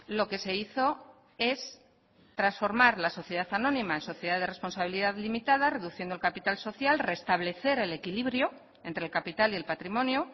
lo que se hizo es transformar la sociedad anónima en sociedad de responsabilidad limitada reduciendo el capital social restablecer el equilibrio entre el capital y el patrimonio